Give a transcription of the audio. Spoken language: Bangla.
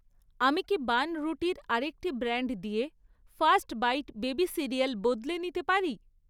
আমি কি বানরুটির আরেকটি ব্র্যান্ড দিয়ে ফার্স্ট বাইট বেবি সিরিয়াল বদলে নিতে পারি?